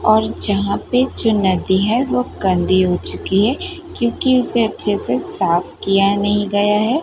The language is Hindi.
और जहां पे जो नदी हैं वो गंदी हो चुकी हैं क्योंकी उसे अच्छे से साफ किया नहीं गया हैं।